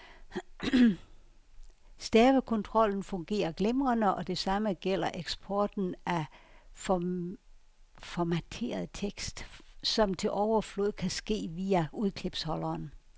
Stavekontrollen fungerer glimrende, og det samme gælder eksporten af formateret tekst, som til overflod kan ske via udklipsholderen.